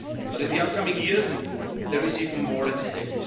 But in the coming years there is even more at stake.